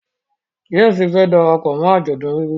James fẹ darapọ̀ mọ ajọdun ègùngùn